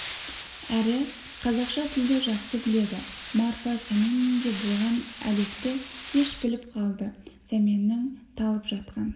әрі қазақша тілді жақсы біледі марфа сәмен үйінде болған әлекті кеш біліп қалды сәменнің талып жатқан